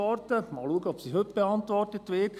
Mal sehen, ob sie heute beantwortet wird.